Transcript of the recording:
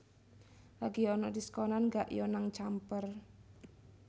Lagi onok diskonan gak yo nang Camper?